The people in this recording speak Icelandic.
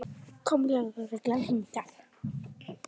Kom lögreglan hingað?